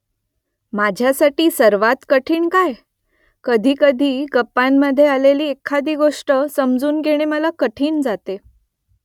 माझ्यासाठी सर्वांत कठीण काय ? कधीकधी गप्पांमध्ये आलेली एखादी गोष्ट समजून घेणं मला कठीण जातं